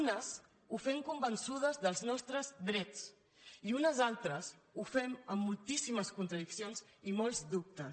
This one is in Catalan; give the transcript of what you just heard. unes ho fem convençudes dels nostres drets i unes altres ho fem amb moltíssimes contradiccions i molts dubtes